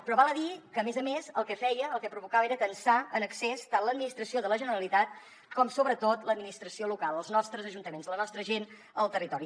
però val a dir que a més a més el que feia el que provocava era tensar en excés tant l’administració de la generalitat com sobretot l’administració local els nostres ajuntaments la nostra gent al territori